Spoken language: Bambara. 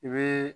I bɛ